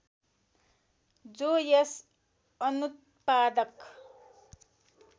जो यस अनुत्पादक